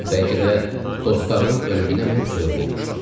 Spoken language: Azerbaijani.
Bəlkə də dostlarımın ölümünə mən səbəb olmuşdum.